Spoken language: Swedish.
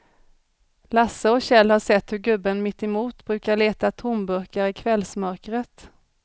Lasse och Kjell har sett hur gubben mittemot brukar leta tomburkar i kvällsmörkret.